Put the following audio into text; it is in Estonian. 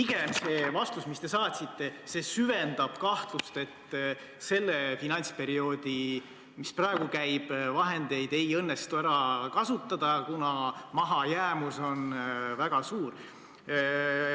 See vastus, mille te saatsite, pigem süvendab kahtlust, et praeguse finantsperioodi vahendeid ei õnnestu ära kasutada, kuna mahajäämus on väga suur.